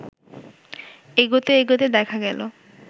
এগোতে এগোতে দেখা গেলো